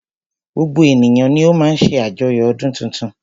Gbogbo ènìyàn ni o má ń ṣe àjoyo ọdún tuntun.